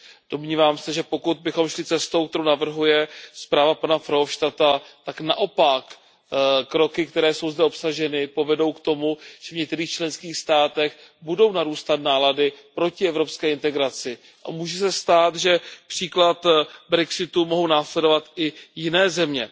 Domnívám se, že pokud bychom šli cestou, kterou navrhuje zpráva pana Verhofstadta, tak naopak kroky, které jsou zde obsaženy, povedou k tomu, že v některých členských státech budou narůstat nálady proti evropské integraci, a může se stát, že příklad brexitu mohou následovat i jiné země.